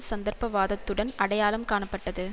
சந்தர்ப்பவாதத்துடன் அடையாளம் காணப்பட்டது